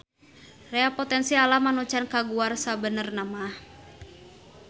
Rea potensi alam anu can kaguar sabenernamaha.